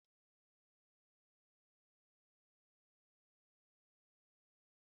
Eyịm bụ ihe dị mkpa n'ọtụtụ uzommeputa ụtụtụ nri.